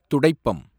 துடைப்பம்